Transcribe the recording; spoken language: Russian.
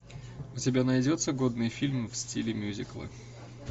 у тебя найдется годный фильм в стиле мюзикла